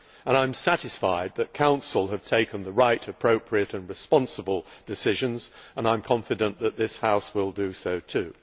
I am satisfied that the Council has taken the right, appropriate and responsible decisions, and I am confident this House will do so too.